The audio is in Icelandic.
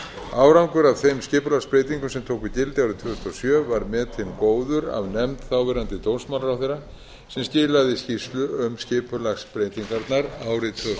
árangur af þeim skipulagsbreytingum sem tóku gildi árið tvö þúsund og sjö var metinn góður af nefnd þáverandi dómsmálaráðherra sem skilaði skýrslu um skipulagsbreytingarnar árið